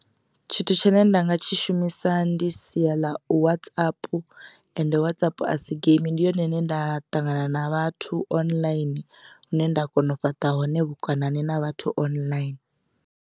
Tshithu tshine nda nga tshi shumisa ndi sia ḽa Whatsapp ende Whatsapp a si geimi ndi yone ine nda ṱangana na vhathu online hune nda kona u fhaṱa hone vhukonani na vhathu online.